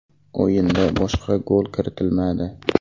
O‘yinda boshqa gol kiritilmadi.